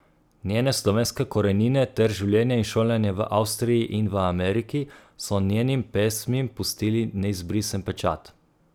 Njene slovenske korenine ter življenje in šolanje v Avstriji in v Ameriki so njenim pesmim pustili neizbrisen pečat.